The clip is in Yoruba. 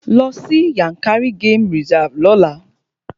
Lọ sí Yankari game reserve lọ́la!